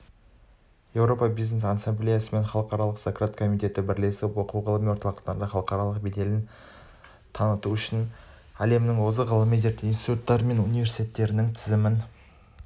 еуропа бизнес ассамблеясы мен халықаралық сократ комитеті бірлесіп оқу-ғылыми орталықтардың халықаралық беделін таныту үшін әлемнің озық ғылыми-зерттеу институттары мен университеттерінің тізімін